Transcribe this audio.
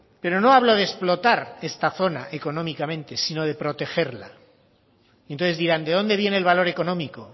pero no hablo de explotar esta zona económicamente sino de protegerla entonces dirán de dónde viene el valor económico